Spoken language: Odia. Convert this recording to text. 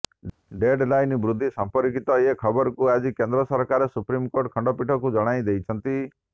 ଡେଡ୍ଲାଇନ୍ ବୃଦ୍ଧି ସଂପର୍କିତ ଏ ଖବରକୁ ଆଜି କେନ୍ଦ୍ର ସରକାର ସୁପ୍ରିମକୋର୍ଟ ଖଣ୍ଡପୀଠକୁ ଜଣେଇ ଦେଇଛନ୍ତି